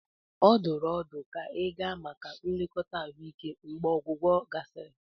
Ọ dụrụ ọdụ ka ịga maka nlekọta ahụike mgbe ọgwụgwọ gasịrị.